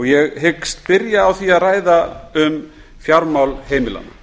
ég hyggst byrja á að ræða um fjármál heimilanna